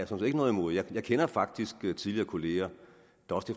set ikke noget imod det jeg kender faktisk tidligere kollegaer